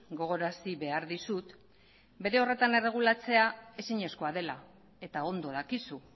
gogorarazi behar dizut bere horretan erregulatzea ezinezkoa dela eta ondo dakizu